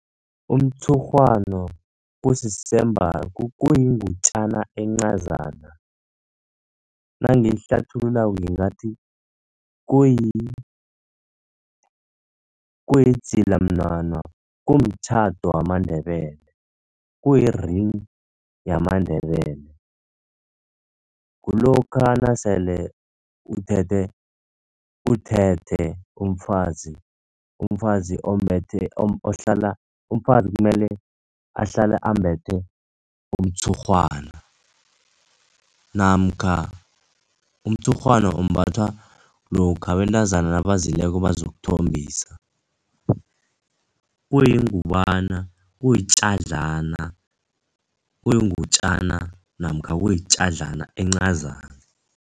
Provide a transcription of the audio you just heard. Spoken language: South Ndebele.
Umtshurhwana kuyingutjana encazana, nangiyihlathululako ngingathi kuyidzilamnwana, kumtjhado wamaNdebele. Kuyi-ring yamaNdebele. Kulokha nasele uthethe, uthethe umfazi. Umfazi kumele ahlale ambethe umtshurhwana, namkha umtshurhwana umbathwa lokha abantazana nabazileko bazokuthombisa. Kuyingubana, kuyitjadlana, kuyingutjana namkha kuyitjadlana encazana.